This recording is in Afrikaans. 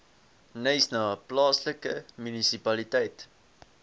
knysna plaaslike munisipaliteit